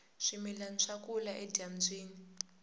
swimilani swa kula edyambyini